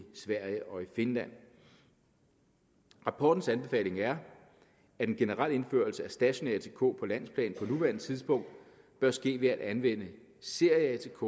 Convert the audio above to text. sverige og i finland rapportens anbefaling er at den generelle indførelse af stationær atk på landsplan på nuværende tidspunkt bør ske ved at anvende serie atk